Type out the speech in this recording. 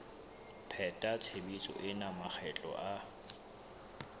pheta tshebetso ena makgetlo a